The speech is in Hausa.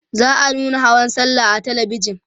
za'a nuna hawan sallah a talabijan